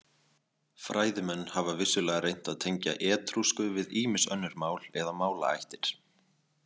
Fræðimenn hafa vissulega reynt að tengja etrúsku við ýmis önnur mál eða málaættir.